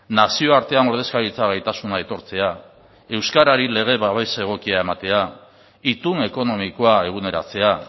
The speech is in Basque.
nazioartean ordezkaritza gaitasuna aitortzea euskarari lege babes egokia ematea itun ekonomikoa eguneratzea